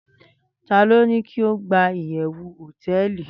Tani o ni ki o gba iyewu hoteeli